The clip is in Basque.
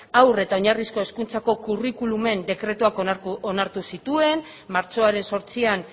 haur eta oinarrizko hezkuntzako curriculumen dekretuak onartu zituen martxoaren zortzian